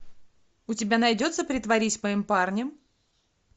у тебя найдется притворись моим парнем